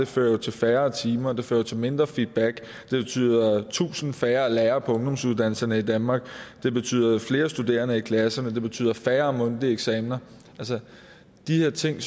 fører jo til færre timer der fører til mindre feedback det betyder tusind færre lærere på ungdomsuddannelserne i danmark det betyder flere studerende i klasserne og det betyder færre mundtlige eksamener de ting